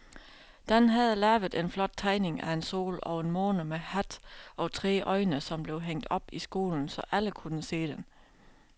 Dan havde lavet en flot tegning af en sol og en måne med hat og tre øjne, som blev hængt op i skolen, så alle kunne se den.